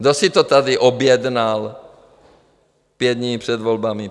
Kdo si to tady objednal pět dní před volbami?